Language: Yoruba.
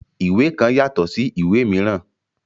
Ìwé kan yatọ sí ìwé míràn.